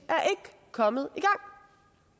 kommet